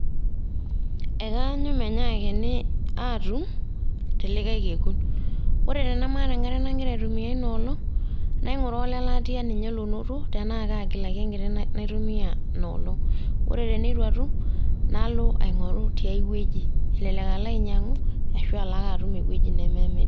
Ekaanyu menyaakini aatum telikae kekun. Ore tenemaata enkare nagira aitumia inoolong',naing'uraa ole latia linye lonoto tenaa kagilaki enkiti naitumia inoolong'. Ore teneitu atum, nalo aing'oru tiai wueji. Elelek alo ainyang'u, ashu alo ake atum ewueji nememiri.